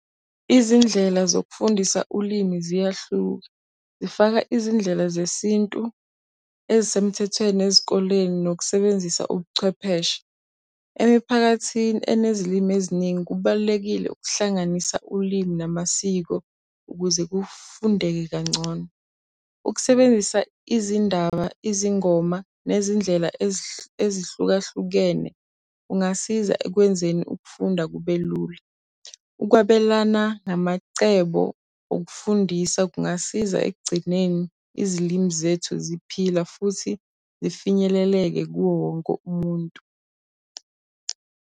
Izindlela zokufundisa ulimi ziyahluka, zifaka izindlela zesintu ezisemthethweni ezikoleni nokusebenzisa ubuchwepheshe. Emiphakathini enezilimi eziningi kubalulekile ukuhlanganisa ulimi namasiko ukuze kufundeka kangcono. Ukusebenzisa izindaba, izingoma nezindlela ezihlukahlukene kungasiza ekwenzeni ukufunda kube lula. Ukwabelana namacebo okufundisa kungasiza ekugcineni izilimi zethu ziphila futhi zifinyeleleke kuwo wonke umuntu.